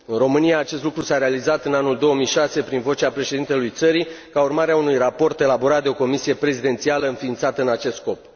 În România acest lucru s a realizat în anul 2006 prin vocea președintelui țării, ca urmare a unui raport elaborat de o comisie prezidențială înființată în acest scop.